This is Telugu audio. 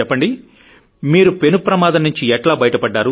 చెప్పండి మీరు పెను ప్రమాదం నుంచి ఎట్లా బయటపడ్డారు